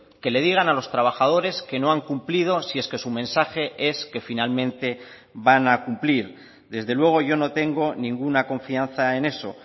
que le digan a los trabajadores que no han cumplido si es que su mensaje es que finalmente van a cumplir desde luego yo no tengo ninguna confianza en eso